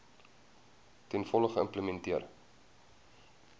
ten volle geïmplementeer